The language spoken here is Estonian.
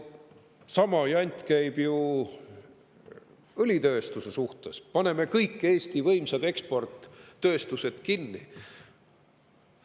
" Sama jant käib ju ka õlitööstustega: paneme kõik Eesti võimsad eksporttööstused kinni.